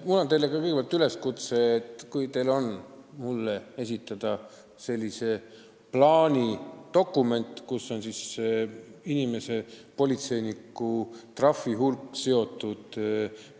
Mul on teile kõigepealt üleskutse: kui teil on mulle ette näidata selline paber, mis tõendab politseiniku kogutud trahvide hulga sidumist